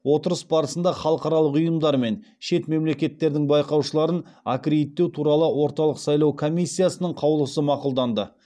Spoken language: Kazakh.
отырыс барысында халықаралық ұйымдар мен шет мемлекеттердің байқаушыларын аккредиттеу туралы орталық сайлау комиссиясының қаулысы мақұлданды